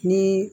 Ni